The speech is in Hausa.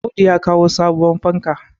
Audu ya kawo sabuwar fankar